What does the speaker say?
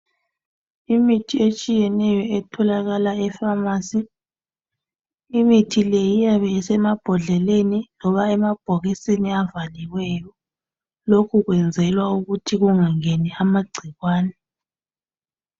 Imithi etshiyeneyo etholakala efamasi imithi le iyabe isemabhodleleni loba emabhokisini avaliweyo lokhu kwenzelwa ukuthi kungangeni amagcikwane